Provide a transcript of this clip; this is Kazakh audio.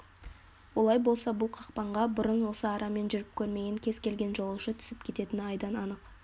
олай болса бұл қақпанға бұрын осы арамен жүріп көрмеген кез келген жолаушы түсіп кететіні айдан-анық